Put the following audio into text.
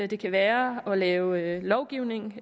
det kan være at lave lovgivning og